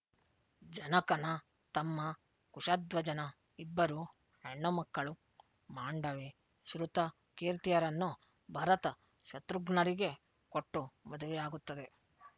ಜನಕನ ತಮ್ಮ ಕುಶಧ್ವಜನ ಇಬ್ಬರು ಹೆಣ್ಣು ಮಕ್ಕಳು ಮಾಂಡವಿ ಶ್ರುತಕೀರ್ತಿಯರನ್ನು ಭರತ ಶತ್ರುಘ್ನರಿಗೆ ಕೊಟ್ಟು ಮದುವೆಯಾಗುತ್ತದೆ